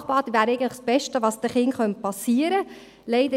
Ein Sprachbad wäre eigentlich das Beste, was den Kindern passieren könnte.